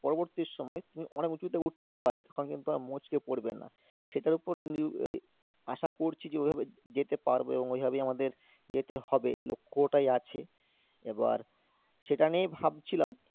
পরবর্তী সময় তুমি অনেক উঁচুতে উঠতে পারবে তখন কিন্তু আর মুচকে পড়বে না, সেটার উপর আশা করছি যে ঐভাবে যেতে পারবো এবং ঐভাবেই আমাদের যেতে হবে লক্ষ ওটাই আছে এবার সেটা নিয়েই ভাবছিলাম,